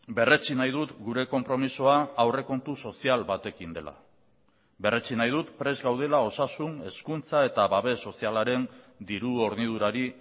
berretsi nahi dut gure konpromisoa aurrekontu sozial batekin dela berretsi nahi dut prest gaudela osasun hezkuntza eta babes sozialaren diru hornidurari